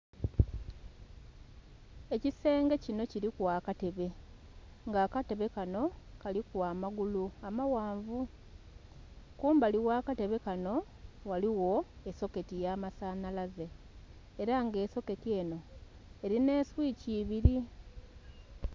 Ekisenge kinho kiliku akatebe nga akatebe kanho kaliku amagulu amaghanvu. Kumbali ogh'akatebe kanho ghaligho esoketi y'amasanhalaze ela nga esoketi enho elinha eswithi ibili.